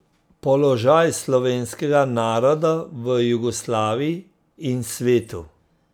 Položaj slovenskega naroda v Jugoslaviji in svetu.